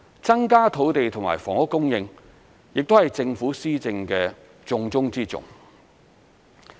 增加土地及房屋供應亦是政府施政的重中之重。